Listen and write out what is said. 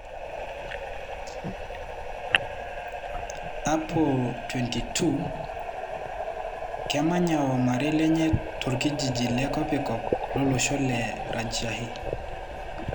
Apo ,22,kemanya wo marei lenye tokijiji le kopikop lolosho le Rajshahi.